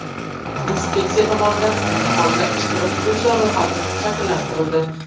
Inspeksiya tomonidan imtihonda ishtirok etuvchilar ro‘yxati shakllantirildi.